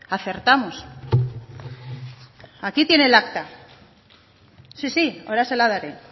acertamos aquí tiene el acta si si ahora se la daré